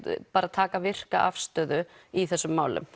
taka virka afstöðu í þessum málum